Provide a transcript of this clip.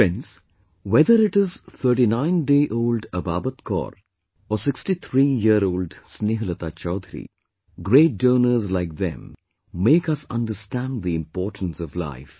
Friends, whether it is 39dayold Ababat Kaur or 63yearold Snehlata Chowdhary, great donors like them make us understand the importance of life